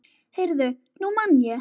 Heyrðu, nú man ég.